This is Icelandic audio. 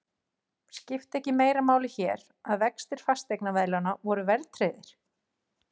Skipti ekki meira máli hér, að vextir fasteignaveðlána voru verðtryggðir?